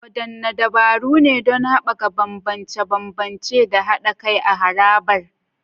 Wadanne dabaru ne don haɓaka bambance-bambance da haɗa kai a harabar?